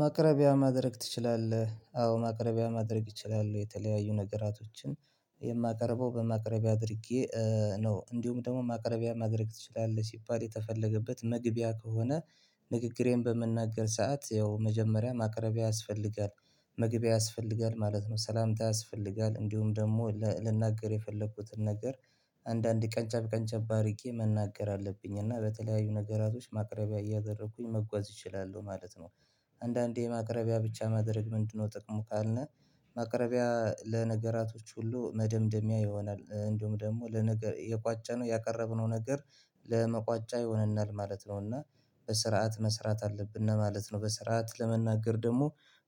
ማቅረቢያ ማድረግ ትችላለህ? አዎ ማቅረቢያ ማድረግ ይችላሉ የተለያዩ ነገራቶችን የማቀርበው በማቅረቢያ አድርጌ ነው። እንዲሁም ደግሞ ማቅረቢያ ማድረግ ትችላለህ ሲባል የተፈለገበት መግቢያ ከሆነ ንግግሬን በመናገር ሰዓት ያው መጀመሪያ ማቅረቢያ ያስፈልጋል መግቢያ ያስፈልጋል ማለት ነው። ሰላምታ ያስፈልጋል እንዲሁም ደግሞ ልናገር የፈለኩትን ነገር አንዳንድ ቀንጨብ ቀንጨብ አርጌ መናገር አለብኝ እና በተለያዩ ነገራቶች ማቅረቢያ እያደረኩኝ መጓዝ እችላለሁ ማለት ነው። አንዳንዴ የማቅረቢያ ብቻ ማድረግ ምንድን ነው ጥቅሙ? ካልነ ማቅረቢያ ለነገራቶች ሁሉ መደምደሚያ ይሆናል እንደሁም ደግሞ ለነገር የቋጨነው ያቀረብነው ነገር ለመቋጫ ይሆንናል ማለት ነው። እና በስርዓት መስራት አለብነ ማለት ነው። በስርዓት ለመናገር ደግሞ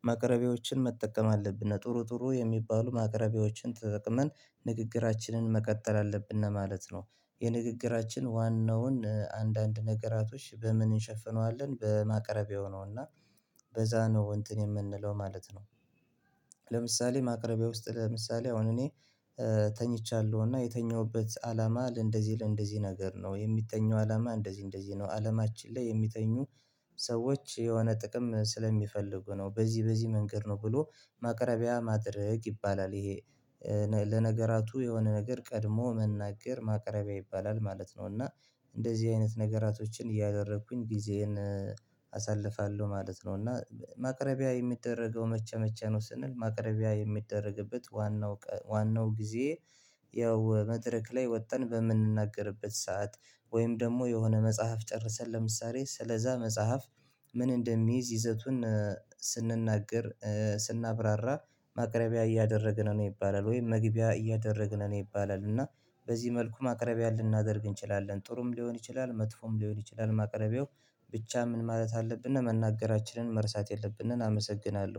ማቅረቢያዎችን መጠቀም አለብነ ጥሩ ጥሩ የሚባሉ ማቅረቢያዎችን ተጠቀመን ንግግራችንን መቀጠል አለብነ ማለት ነው። የንግግራችን ዋናውን አንዳንድ ነገራቶች በምን እንሸፍነዋለን በማቅረብያው ነው እና በዛ ነው እንትን የምንለው ማለት ነው። ለምሳሌ ማቅረቢያ ውስጥ ለምሳሌ አሁን እኔ ተኝቻለሁ እና የተኛሁበት አላማ ለእንደዚህ ለእንደዚህ ነገር ነው። የሚተኙ አላማ እንደዚህ እንደዚህ ነው አለማችን ላይ የሚተኙ ሰዎች የሆነ ጥቅም ስለሚፈልጉ ነው። በዚህ በዚህ መንገድ ነው ብሎ ማቅረቢያ ማድረግ ይባላል። ይሄ ለነገራቱ የሆነ ነገር ቀድሞ መናገር ማቅረቢያ ይባላል ማለት ነው። እና እንደዚህ አይነት ነገራቶችን እያደረኩኝ ጊዜዬን አሳልፋለሁ ማለት ነው። እና ማቅረቢያ የምደረገው መቼ መቸመቸ ነው? ስንል ማቅረቢያ የሚደረግበት ዋናው ቀን ዋናው ጊዜ ያው መድረክ ላይ ወጥን በምንናገርበት ሰዓት ወይም ደግሞ የሆነ መጽሐፍ ጨርሰን ለምሳሌ ስለዛ መጽሐፍ ምን እንደሚይዝ ይዘቱን ስንናገር ስናብራራ ማቅረቢያ እያደረግን ነው። ይባላል ወይም መግቢያ እያደረግን ነው ይባላል። እና በዚህ መልኩ ማቅረቢያ ልናደርግ እንችላለን ጥሩም ሊሆን ይችላል። መጥፎም ሊሆን ይችላል። ማቅረቢያው ብቻ ምን ማለት አለብነ መናገራችንን መርሳት የለብነን። አመሰግናለሁ